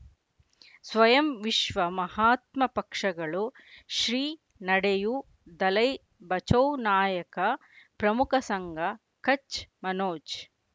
ಸ್ವಯಂ ವಿಶ್ವ ಮಹಾತ್ಮ ಪಕ್ಷಗಳು ಶ್ರೀ ನಡೆಯೂ ದಲೈ ಬಚೌ ನಾಯಕ ಪ್ರಮುಖ ಸಂಘ ಕಚ್ ಮನೋಜ್